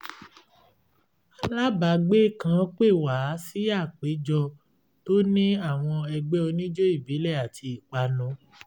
alábàágbé kan pè wá sí àpéjọ tó ní àwọn ẹgbẹ́ oníjó ìbílẹ̀ àti ìpanu